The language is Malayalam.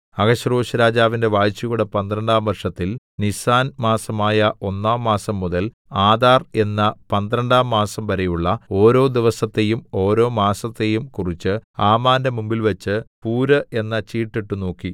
അഹശ്വേരോശ്‌രാജാവിന്റെ വാഴ്ചയുടെ പന്ത്രണ്ടാം വർഷത്തിൽ നീസാൻ മാസമായ ഒന്നാം മാസംമുതൽ ആദാർ എന്ന പന്ത്രണ്ടാം മാസംവരെയുള്ള ഓരോ ദിവസത്തെയും ഓരോ മാസത്തെയും കുറിച്ച് ഹാമാന്റെ മുമ്പിൽവച്ച് പൂര് എന്ന ചീട്ടിട്ടുനോക്കി